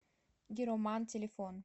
гироман телефон